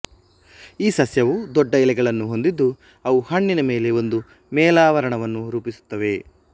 ಈ ಸಸ್ಯವು ದೊಡ್ಡ ಎಲೆಗಳನ್ನು ಹೊಂದಿದ್ದು ಅವು ಹಣ್ಣಿನ ಮೇಲೆ ಒಂದು ಮೇಲಾವರಣವನ್ನು ರೂಪಿಸುತ್ತವೆ